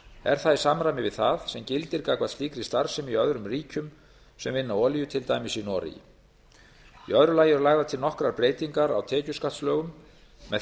er það í samræmi við það sem gildir gagnvart slíkri starfsemi í öðrum ríkjum sem vinna olíu til dæmis í noregi í öðru lagi eru lagðar til nokkrar breytingar á tekjuskattslögunum með